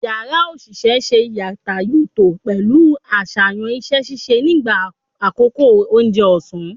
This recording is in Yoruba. Yara osise n se yàtàyòtò pẹlu aṣayan iṣẹ-ṣiṣe nigba akoko ounje òsán